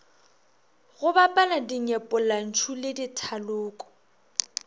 go bapala dinyepollantšu le dithaloko